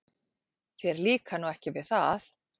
Þér líkar nú ekki við það?